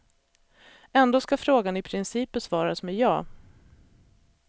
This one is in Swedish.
Ändå ska frågan i princip besvaras med ja.